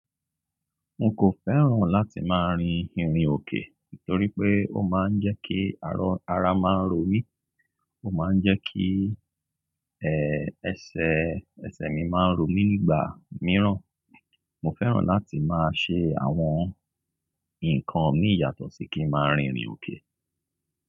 Mo kò fẹ́ràn láti máa rin ìrìn òkè nítorí pé ó máa ń jẹ́ kí ara máa ń ro mí. Ó máa ń jẹ́ kí, ẹ́, ẹsẹ̀, ẹsẹ̀ mi máa ń ro mí nígbà mìíràn. Mo fẹ́ràn láti máa ṣe àwọn ǹkan mi yàtọ̀ sí kí n máa rin ìrìn òkè.